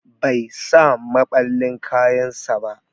Bai sa maballin kayan sa ba.